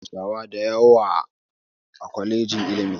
Akwai ɗalibai hausawa dayawa a kwalejin iilmi